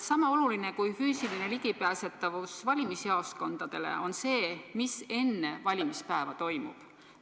Sama oluline kui füüsiline ligipääsetavus valimisjaoskondadele on see, mis enne valimispäeva toimub.